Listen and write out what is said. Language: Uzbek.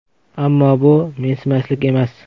Ammo bu mensimaslik emas.